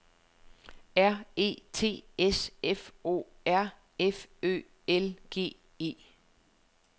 R E T S F O R F Ø L G E